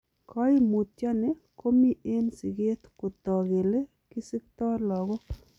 Koimutioni komi en siket kotok kele kisikto logok.